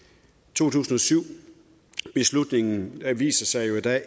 to tusind og syv beslutningen viser sig jo